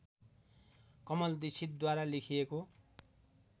कमल दीक्षितद्वारा लेखिएको